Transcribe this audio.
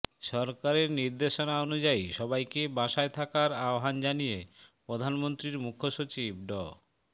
সরকারে নির্দেশনা অনুযায়ী সবাইকে বাসায় থাকার আহ্বান জানিয়ে প্রধানমন্ত্রীর মুখ্য সচিব ড